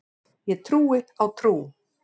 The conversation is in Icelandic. Ég trúi á trú.